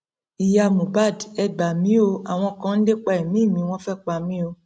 ìyá mohbad e gbà mí o àwọn kan ń lépa ẹmí mi wọn fẹẹ pa mí o